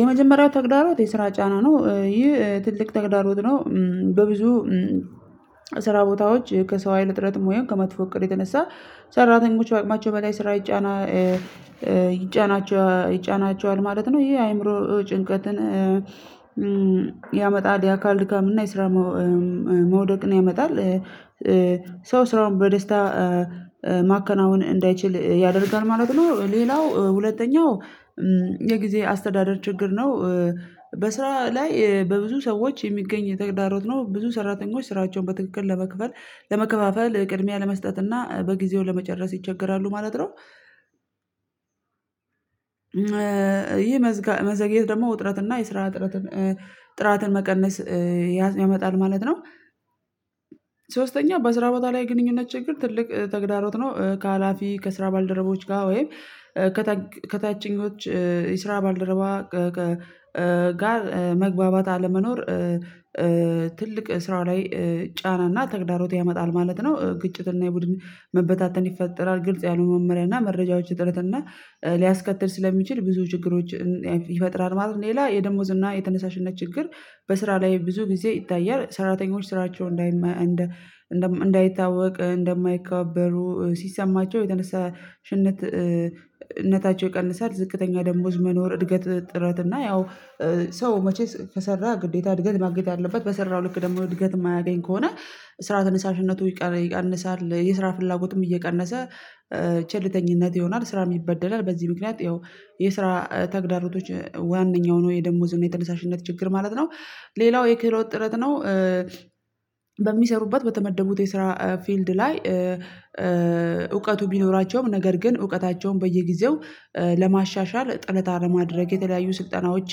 የመጀመሪያ ተግዳሮት የስራ ጫና ነው ይህ ትልቅ ተግዳሮት ነው በብዙ ስራ ቦታዎች ከሰው ሀይል እጥረትም ወይም ከመጥፎ እቅድ የተነሳ ሰራተኞች በአቅማቸው በላይ ስራ ይጫና ይጫናቸዋል ማለት ነው ይሄ የአእምሮ ጭንቀትን ያመጣል የአካል ድካምና የስራ መውደቅን ያመጣል ሰው ስራውን በደስታ ማከናወን እንዳይችል ያደርጋል ማለት ነው ሌላው ሁለተኛው የጊዜ አስተዳደር ችግር ነው በስራ ላይ በብዙ ሰዎች የሚገኝ ተግዳሮት ነው ብዙ ሰራተኞች ስራቸውን በትክክል ለመክፈል ለመከፋፈል ቅድሚያ ለመስጠት እና በጊዜው ለመጨረስ ይቸገራሉ ማለት ነው፤ ይሄ መዘግየት ደግሞ ውጥረት እና የስራ ጥረትን ጥራትን መቀነስ ያመጣል ማለት ነው፤ ሶስተኛ በስራ ቦታ ላይ ግንኙነት ችግር ትልቅ ተግዳሮት ነው ከሀላፊ ከስራ ባልደረቦች ጋር ወይም ከታችኞች የስራ ባልደረባ ጋር መግባባት አለመኖር፤ ትልቅ ስራ ላይ ጫናና ተግዳሮት ያመጣል ማለት ነው ግጭትና የቡድን መበታተን ይፈጠራል ግልጽ ያሉ መመሪያና መረጃዎች ጥረትና ሊያስከትል ስለሚችል ብዙ ችግሮች ይፈጥራል ማለት ነው ሌላ የደሞዝ እና የተነሳሽነት ችግር በስራ ላይ ብዙ ጊዜ ይታያል፤ ሰራተኞች ስራቸው እንዳይታወቅ እንደማይከበሩ ሲሰማቸው የተነሳሽነትነታቸው ይቀንሳል ዝቅተኛ ደሞዝ መኖር እድገት ጥረት እና ያው ሰው መቼስ ከሰራ ግዴታ እድገት ማግኘት ያለበት በሰራው ልክ ደግሞ እድገት የማያገኝ ከሆነ ስራ ተነሳሽነቱ ይቀንሳል የስራ ፍላጎትም እየቀነሰ ቸልተኝነት ይሆናል ስራ ይበደላል በዚህ ምክንያት ይኸው የስራ ተግዳሮቶች ዋነኛው ነው የደሞዝ የተነሳሽነት ችግር ማለት ነው፤ ሌላው የክህሎት ጥረት ነው በሚሰሩበት በተመደቡት የስራ ፊልድ ላይ እውቀቱ ቢኖራቸውም ነገር ግን እውቀታቸውን በየጊዜው ለማሻሻል ጥረት አለማድረግ የተለያዩ ስልጠናዎች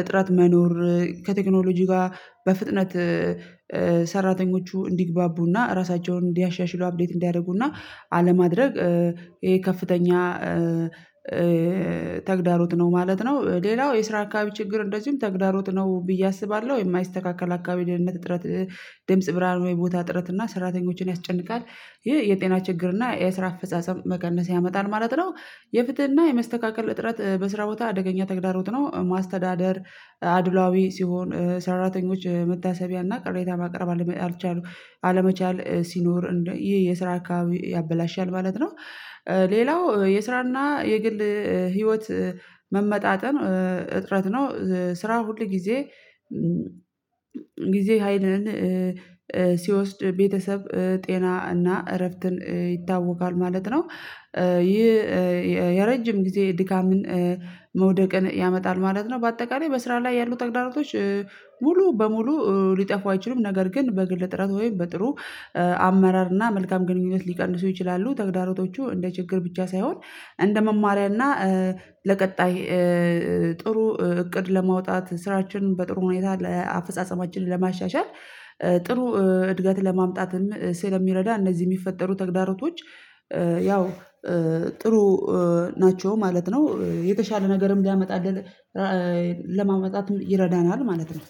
እጥረት መኖር ከቴክኖሎጂ ጋር በፍጥነት ሰራተኞቹ እንዲግባቡና ራሳቸውን እንዲያሻሽሉ አፕዴት እንዲያደርጉና አለማድረግ ይሄ ከፍተኛ ተግዳሮት ነው ማለት ነው ሌላው የስራ አካባቢ ችግር እንደዚሁም ተግዳሮት ነው ብዬ አስባለሁ የማይስተካከል አካባቢ የድን እጥረት ድምጽ ብርሃን ወይ ቦታ ጥረት እና ሰራተኞችን ያስጨንቃል ይሄ የጤና ችግር እና የስራ አፈጻጸም መቀነስ ያመጣል ማለት ነው የፍትህና የመስተካከል እጥረት በስራ ቦታ አደገኛ ተግዳሮት ነው፤ ማስተዳደር አድሏዊ ሲሆን ሰራተኞች መታሰቢያ እና ቅሬታ ማቅረብ አልመቻል ሲኖር እንደ ይሄ የስራ አካባቢ ያበላሻል ማለት ነው፤ ሌላው የስራና የግል ህይወት መመጣጠን እጥረት ነው ስራው ሁል ጊዜ ጊዜ ሀይልን ሲወስድ ቤተሰብ ጤና እና እረፍትን ይታወቃል ማለት ነው ይህ የረጅም ጊዜ ድካምን መውደቅን ያመጣል ማለት ነው በአጠቃላይ በስራ ላይ ያሉ ተግዳሮቶች ሙሉ በሙሉ ሊጠፉ አይችሉም ነገር ግን በግል ጥረት ወይም በጥሩ አመራር እና መልካም ግንኙነት ሊቀንሱ ይችላሉ ተግዳሮቶቹ እንደ ችግር ብቻ ሳይሆን እንደ መማሪያና ለቀጣይ ጥሩ እቅድ ለማውጣት ስራችን በጥሩ ሁኔታ ለአፈጻጸማችን ለማሻሻል ጥሩ እድገት ለማምጣትም ስለሚረዳ እነዚህ የሚፈጠሩ ተግዳሮቶች ያው ጥሩ ናቸው ማለት ነው የተሻለ ነገርም ሊያመጣልን ለማመጣት ይረዳናል ማለት ነው።